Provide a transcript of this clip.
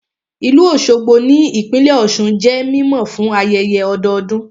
Ìlú Òṣogbo ní ìpínlẹ̀ Ọ̀sun jẹ́ mímọ̀ fún ayẹyẹ ọdọdún